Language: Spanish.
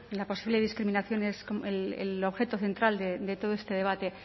la posible discriminación es el objeto central de todo este debate